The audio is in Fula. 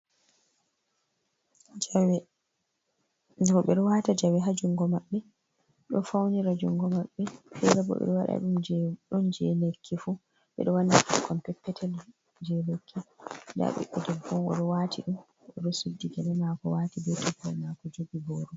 Jawe roɓɓe ɗo wata jawe ha jungo maɓɓe, ɗo faunira jungo maɓɓe, fere bo ɓe ɗo wada dum je ɗon je lekki fu. Ɓe ɗo wanna ɓikkon peppetel je lekki, nda ɓiɗɗo debbo o ɗo wati ɗum, oɗo suddi gale mako, wati be toggol mako, jogi boro.